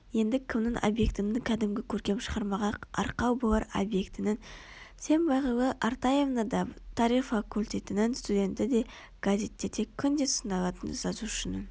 енді кімнің объектінің кәдімгі көркем шығармаға арқау болар объектінің сен бағила аратаевна да тарих фақультетінің студенті де газеттерде күнде сыналатын жазушының